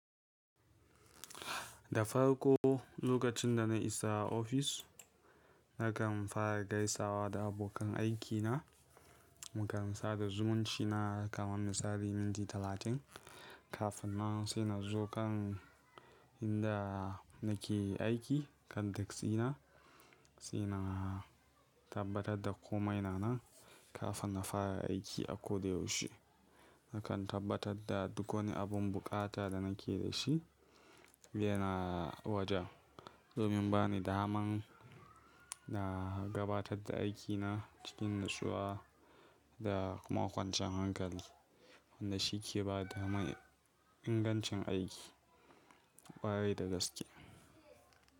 Da farko lokacin da na isa ofis, nakan fara gaisawa da abokan aikina, mukamasa da zumunci na kamar misali minti talatin kafin nan sai na zo kan inda nake aiki. Kanda tsina sai na tabbatar da komai na nan kafin na fara aiki a ko da yaushe. Nakan tabbatar da duk wani abun bukata da nake da shi yana waje domin ba ni daman na gabatar da aikina cikin natsuwa da kuma kwanciyar hankali wanda shi ke ba daman ingancin aiki ƙwarai da gaske.